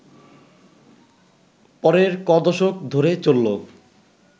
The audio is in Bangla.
পরের ক’দশক ধরে চলল